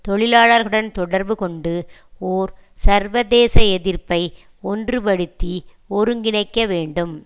தொழிலாளர்களுடன் தொடர்பு கொண்டு ஒர் சர்வதேச எதிர்ப்பை ஒன்றுபடுத்திஒருங்கிணைக்க வேண்டும்